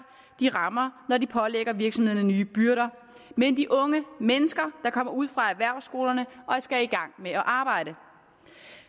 de rammer når de pålægger virksomhederne nye byrder men de unge mennesker der kommer ud fra erhvervsskolerne og skal i gang med at arbejde